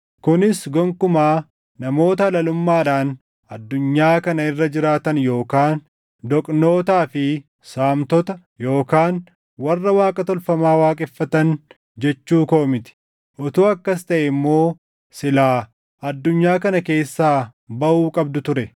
kunis gonkumaa namoota halalummaadhaan addunyaa kana irra jiraatan yookaan doqnootaa fi saamtota yookaan warra Waaqa tolfamaa waaqeffatan jechuu koo miti. Utuu akkas taʼee immoo silaa addunyaa kana keessaa baʼuu qabdu ture.